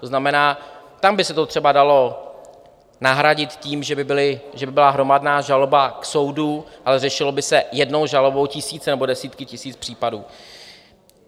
To znamená, tam by se to třeba dalo nahradit tím, že by byla hromadná žaloba k soudu, ale řešily by se jednou žalobou tisíce nebo desítky tisíc případů.